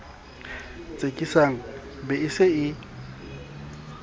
tsekisang be e se e